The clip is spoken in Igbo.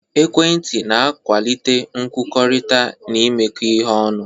Ekwentị na-akwalite nkwukọrịta na imekọ ihe ọnụ.